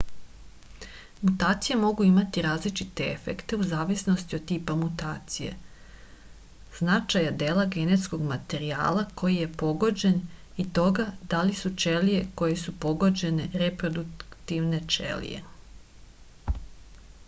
mutacije mogu imati različite efekte u zavisnosti od tipa mutacije značaja dela genetskog materijala koji je pogođen i toga da li su ćelije koje su pogođene reproduktivne ćelije